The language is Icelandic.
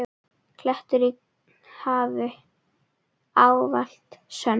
klettur í hafi, ávallt sönn.